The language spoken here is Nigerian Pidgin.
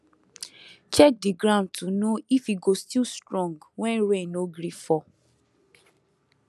check the ground to know if e go still strong when rain no gree fall